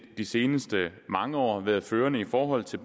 de seneste mange år været førende i forhold til